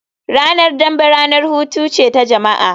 Ranar dambe ranar hutu ce ta jama'a